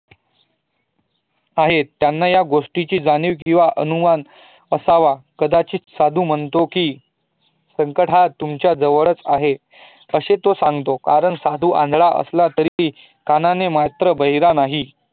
त्यांना या गोष्टीची जाणीव किंव्हा अनुमान असावा कदाचीत साधू म्हणतो की, संकट हा तुमच्या जवळच आहे असे तोसागतो कारण साधू आंधळा असला तरी तो कानाने मात्र बहिरा नाहीं